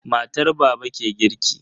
Matar baba ke girki.